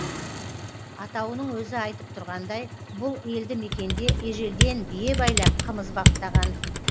атауының өзі айтып тұрғандай бұл елді мекенде ежелден бие байлап қымыз баптаған